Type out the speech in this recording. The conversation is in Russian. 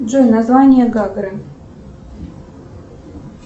джой название гагры